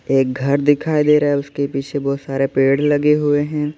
एक घर दिखाई दे रहा है उसके पीछे बहुत सारे पेड़ लगे हुए हैं।